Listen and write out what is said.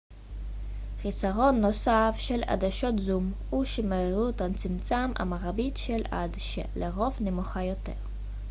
חיסרון נוסף של עדשות זום הוא שמהירות הצמצם המרבית של העדשה לרוב נמוכה יותר